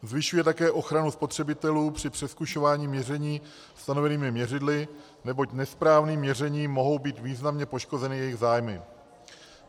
Zvyšuje také ochranu spotřebitelů při přezkušování měření stanovenými měřidly, neboť nesprávným měřením mohou být významně poškozeny jejich zájmy.